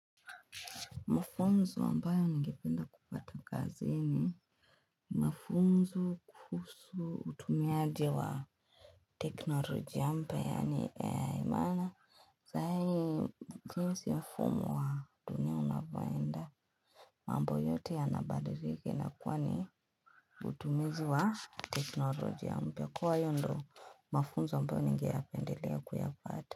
Mafunzo ambayo nigependa kupata kazi ni Mafunzo kuhusu utumiaji wa Teknoloji mpya yani imana saa hii jinsi mfumo wa dunia unavyoenda mambo yote yanabadilika inakuwa ni Utumizi wa Teknoloji mpya kuwa hiyo ndo mafunzo ambayo ningeyapendelea kuyapata.